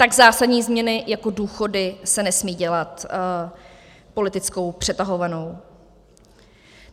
Tak zásadní změny jako důchody se nesmí dělat politickou přetahovanou.